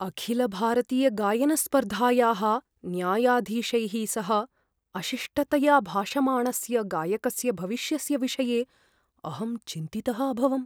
अखिलभारतीयगायनस्पर्धायाः न्यायाधीशैः सह अशिष्टतया भाषमाणस्य गायकस्य भविष्यस्य विषये अहं चिन्तितः अभवम्।